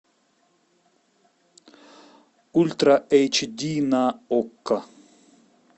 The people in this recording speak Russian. ультра эйч ди на окко